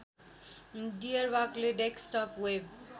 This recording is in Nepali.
डियरवाकले डेस्कटप वेव